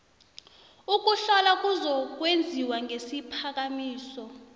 ukuhlola kuzokwenziwa ngesiphakamiso